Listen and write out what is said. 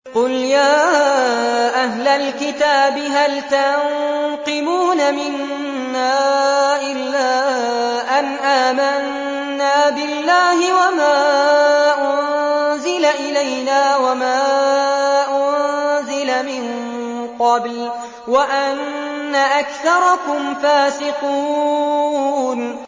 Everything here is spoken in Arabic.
قُلْ يَا أَهْلَ الْكِتَابِ هَلْ تَنقِمُونَ مِنَّا إِلَّا أَنْ آمَنَّا بِاللَّهِ وَمَا أُنزِلَ إِلَيْنَا وَمَا أُنزِلَ مِن قَبْلُ وَأَنَّ أَكْثَرَكُمْ فَاسِقُونَ